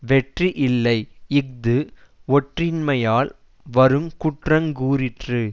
வெற்றி இல்லை இஃது ஒற்றின்மையால் வரு குற்றங்கூறிற்று